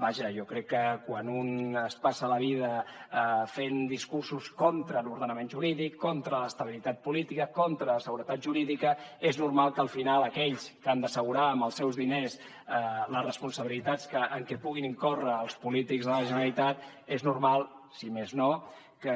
vaja jo crec que quan un es passa la vida fent discursos contra l’ordenament jurídic contra l’estabilitat política contra la seguretat jurídica és normal que al final aquells que han d’assegurar amb els seus diners les responsabilitats en què puguin incórrer els polítics de la generalitat és normal si més no que